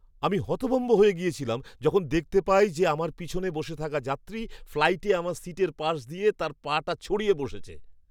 আমি হতভম্ব হয়ে গিয়েছিলাম যখন দেখতে পাই যে আমার পিছনে বসে থাকা যাত্রী ফ্লাইটে আমার সিটের পাশ দিয়ে তার পাটা ছড়িয়ে বসেছে।